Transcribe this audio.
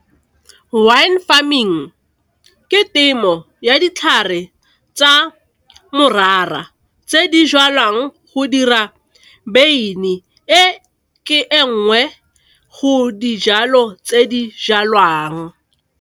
Wine farming ke temo ya ditlhare tsa morara tse di jwalwang go dira beine, e ke e nngwe go dijalo tse di jalwang.